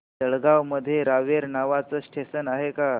जळगाव मध्ये रावेर नावाचं स्टेशन आहे का